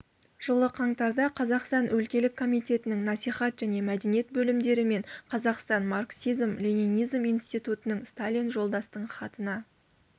жылы қаңтарда қазақстан өлкелік комитетінің насихат және мәдениет бөлімдері мен қазақстан марксизм-ленинизм институтының сталин жолдастың хатына